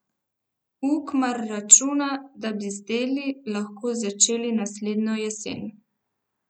Ukmar računa, da bi z deli lahko začeli naslednjo jesen.